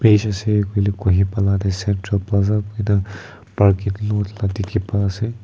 ase koile Kohima la te central plaza kuina parking lot la dikhi pai ase.